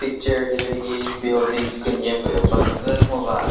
Picture hilühi building künye püh baküzü ngo va.